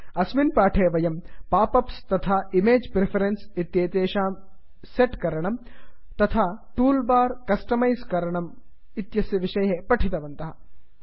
अस्मिन् पाठे वयं पाप् अप्स् तथा इमेज् प्रिफरेन्स् इत्येतेषां सेट् करणम् तथा टूल् बार् कस्टमैस् करणं पठितवन्तः